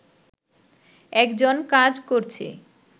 একজন কাজ করছে